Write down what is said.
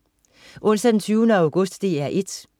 Onsdag den 20. august - DR 1: